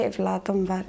Üç övladım var.